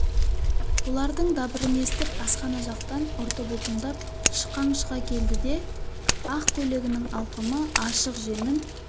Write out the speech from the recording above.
бұлардың дабырын естіп асхана жақтан ұрты бұлтыңдап шықаң шыға келді ақ көйлегінің алқымы ашық жеңін